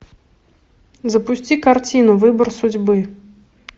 запусти картину выбор судьбы